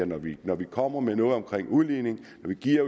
når vi når vi kommer med noget omkring udligning når vi giver